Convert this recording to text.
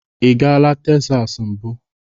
Ị gala Tesas mbụ?